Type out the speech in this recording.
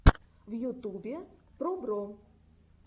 в ютубе пробро